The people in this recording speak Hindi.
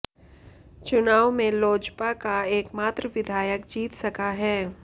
चुनाव में लोजपा का एकमात्र विधायक जीत सका है